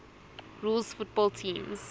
rules football teams